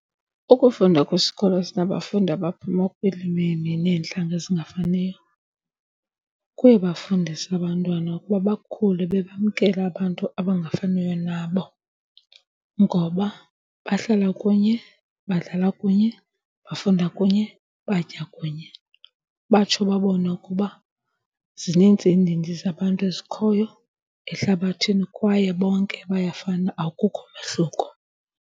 Ukufunda kwisikolo esinabafundi abaphuma kwiilwimi neentlanga ezingafaniyo, kuyabafundisa abantwana ukuba bakhule bebamkela abantu abangafaniyo nabo ngoba bahlala kunye, badlala kunye, bafunda kunye, batya kunye. Batsho babone ukuba zininzi iindidi zabantu ezikhoyo ehlabathini kwaye bonke bayafana, akukho mehluko.